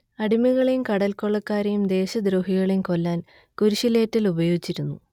അടിമകളെയും കടൽക്കൊള്ളക്കാരെയും ദേശദ്രോഹികളെയും കൊല്ലാൻ കുരിശിലേറ്റൽ ഉപയോഗിച്ചിരുന്നു